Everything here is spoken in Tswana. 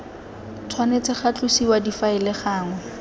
tshwanetse ga tlosiwa difaele gangwe